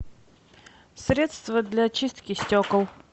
средство для чистки стекол